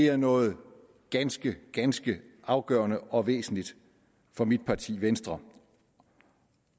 er noget ganske ganske afgørende og væsentligt for mit parti venstre